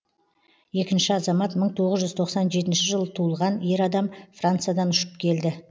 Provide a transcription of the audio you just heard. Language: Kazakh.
екінші азамат мың тоғыз жүз тоқсан жетінші жылы туылған ер адам франциядан ұшып келді